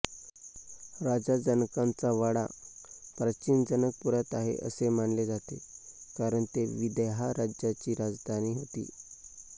राजा जनकांचा वाडा प्राचीन जनकपुरात आहे असे मानले जाते कारण ते विदेहा राज्याची राजधानी होती